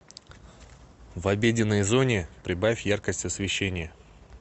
в обеденной зоне прибавь яркость освещения